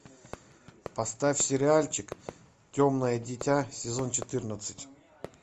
поставь сериальчик темное дитя сезон четырнадцать